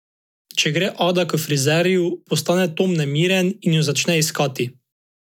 Če gre Ada k frizerju, postane Tom nemiren in jo začne iskati.